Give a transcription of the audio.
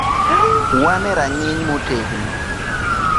“Wan e rang’iny motegno.”